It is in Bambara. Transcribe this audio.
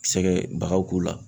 Sɛgɛ bagan k'u la.